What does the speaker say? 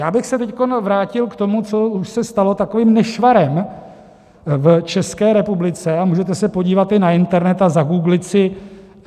Já bych se teď vrátil k tomu, co už se stalo takovým nešvarem v České republice, a můžete se podívat i na internet a zagooglit si.